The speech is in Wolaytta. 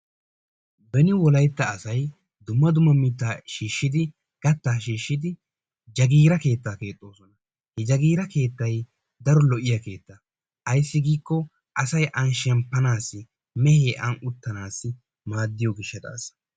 Beni wolaitta asay dumma dumma mittaa shiishshidi gattaa shiishid jagiira keetta keexxoosona. He jagiira keettay daro lo'iya keetta ayssi giikko asay an shemppannassi mehee an uttanaasi maaddiyobl gishshataasa.